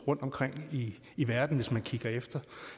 rundtomkring i verden hvis man kigger efter